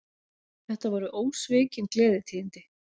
Þetta voru ósvikin gleðitíðindi